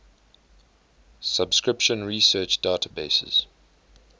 subscription research databases